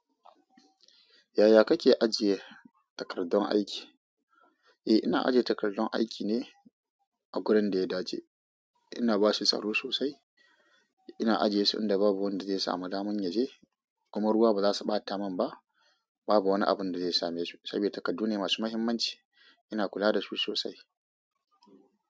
Yaya kake ajiye takardun aiki? Eh, ina ajiye takardun aiki ne a wurin da ya dace. Ina ba su tsaro sosai. Ina ajiye su inda babu wanda zai samu damun ya je, kuma ruwa ba za su ɓata min ba. Babu wani abun da zai same su saboda takardu ne masu muhimmanci. Ina kula da su sosai.